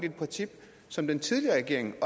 et princip som den tidligere regering